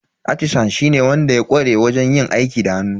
Atisan shine wanda ya ƙware wajen yin aiki da hannu.